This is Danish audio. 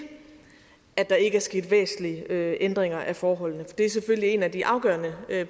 at der ikke er sket væsentlige ændringer af forholdene det er selvfølgelig en af de afgørende